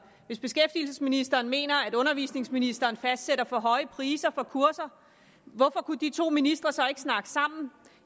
hvis beskæftigelsesministeren mener at undervisningsministeren fastsætter for høje priser for kurser hvorfor kan de to ministre så ikke snakke sammen